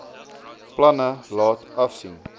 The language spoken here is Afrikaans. planne laat afsien